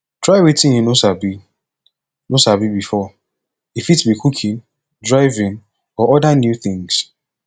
try wetin you no sabi no sabi before e fit be cooking driving or oda new things